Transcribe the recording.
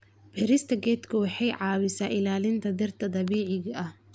Beerista geedku waxay caawisaa ilaalinta dhirta dabiiciga ah.